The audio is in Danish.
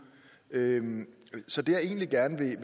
så det jeg egentlig gerne